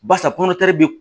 Barisa kɔnɔtari bi